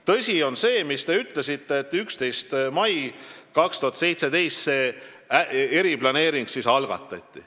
Tõsi on see, mis te ütlesite, et 11. mail 2017 see eriplaneering algatati.